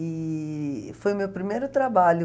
E foi o meu primeiro trabalho.